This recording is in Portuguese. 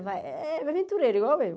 Mas é é aventureiro, igual eu.